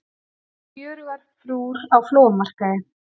Fjörugar frúr á flóamarkaði